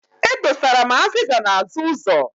E dosara m azịza n'azụ ụzọ.